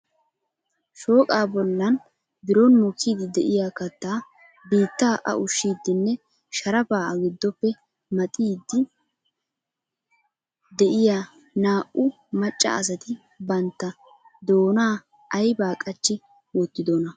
Shooqa bollan biron mokkiidi de'iyaa kattaa biitta a ushshiddinne sharafaa a giddoppe madhdhidi de'iyaa naa"u maccaa asat bantta doona aybba qachchi wottidona?